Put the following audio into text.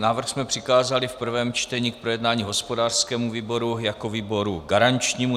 Návrh jsme přikázali v prvém čtení k projednání hospodářskému výboru jako výboru garančnímu.